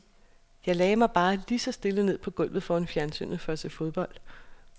Jeg lagde mig bare lige så stille ned på gulvet foran fjernsynet for at se fodbold.